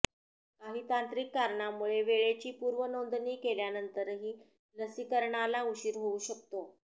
काही तांत्रिक कारणांमुळे वेळेची पूर्वनोंदणी केल्यानंतरही लसीकरणाला उशीर होऊ शकतो